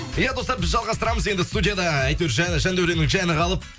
иә достар біз жалғастырамыз енді студияда әйтеуір жәндәуренің жаны қалып